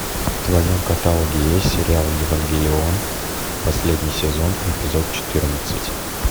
в твоем каталоге есть сериал евангелион последний сезон эпизод четырнадцать